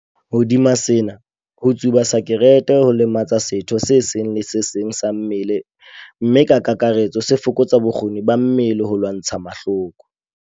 Hodima sena, ho tsuba sakerete ho lematsa setho se seng le se seng sa mmele mme ka kakaretso se fokotsa bokgoni ba mmele ba ho lwantsha mahloko.